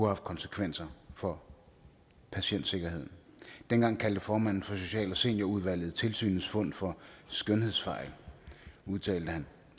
haft konsekvenser for patientsikkerheden dengang kaldte formanden for social og seniorudvalget tilsynets fund for skønhedsfejl han udtalte